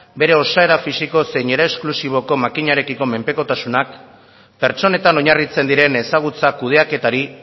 bere osaera fisiko zein era esklusiboko makinarekiko menpekotasunak pertsonetan oinarritzen diren ezagutza kudeaketari